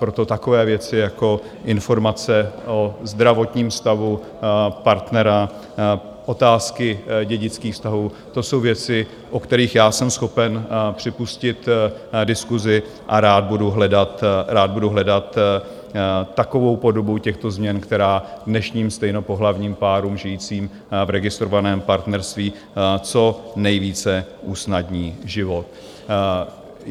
Proto takové věci jako informace o zdravotním stavu partnera, otázky dědických vztahů, to jsou věci, o kterých já jsem schopen připustit diskusi, a rád budu hledat takovou podobu těchto změn, která dnešním stejnopohlavním párům žijícím v registrovaném partnerství co nejvíce usnadní život.